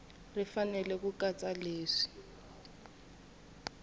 ri fanele ku katsa leswi